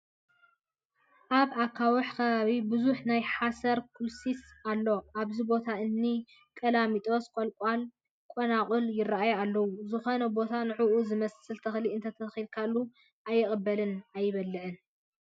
ኣብ ኣካውሕ ከባቢ ብዙሕ ናይ ሓሰር ኩልስስቲ ኣሎ፡፡ ኣብዚ ቦታ እኒ ቀላሚጦስ፣ ቆልቋልን ቆለንቋልን ይርአዩ ኣለዉ፡፡ ዝኾነ ቦታ ንዑዑ ዝመስል ተኽሊ እንተተኺልካሉ ኣይቅበልን ኣይብልን፡፡